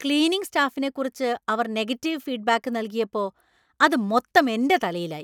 Cleaning സ്റ്റാഫിനെക്കുറിച്ച് അവർ negative feedback നൽകിയപ്പോ അത് മൊത്തം എന്‍റെ തലയിലായി .